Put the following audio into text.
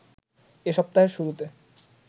এ সপ্তাহের শুরুতে